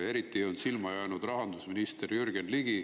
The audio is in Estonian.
Eriti on silma jäänud rahandusminister Jürgen Ligi.